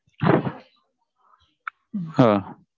ஆஹ்